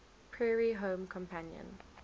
prairie home companion